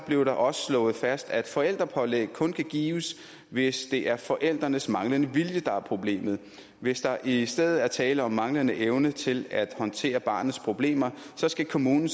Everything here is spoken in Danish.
blev der også slået fast at forældrepålæg kun kan gives hvis det er forældrenes manglende vilje der er problemet hvis der i stedet er tale om manglende evne til at håndtere barnets problemer skal kommunen